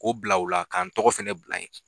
K'o bila o la ka n tɔgɔ fana bila yen